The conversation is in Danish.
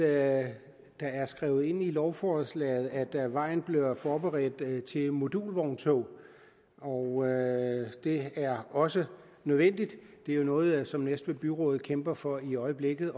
at det er skrevet ind i lovforslaget at vejen bliver forberedt til modulvogntog og det er også nødvendigt det er jo noget som næstved byråd kæmper for i øjeblikket